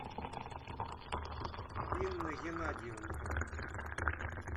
инна генадьевна